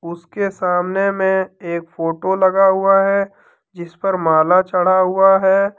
उसके सामने में एक फोटो लगा हुआ है जिस पर माला चढ़ा हुआ है।